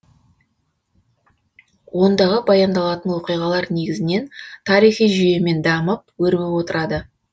ондағы баяндалатын оқиғалар негізінен тарихи жүйемен дамып өрбіп отырады